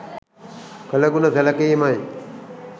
කළ ගුණ සැලකීමයි.